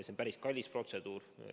See on päris kallis protseduur.